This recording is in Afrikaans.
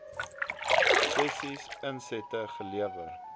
sessies insette gelewer